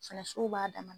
Fɛnɛ sow b'a dama